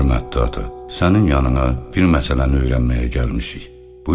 Hörmətli ata, sənin yanına bir məsələni öyrənməyə gəlmişik.